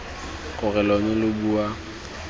gore lo ne lo bua